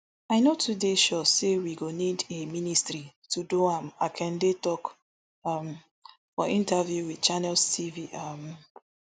i no too dey sure say we go need a ministry to do am akande tok um for interview wit channels tv um